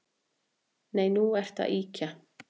Nei, nú ertu að ýkja